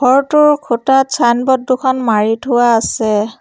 ঘৰটোৰ খুঁটাত চাইনবৰ্ড দুখন মাৰি থোৱা আছে।